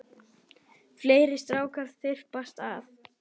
Fleiri strákar þyrpast að.